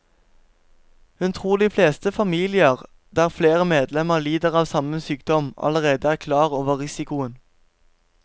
Hun tror at de fleste familier der flere medlemmer lider av samme sykdom, allerede er klar over risikoen.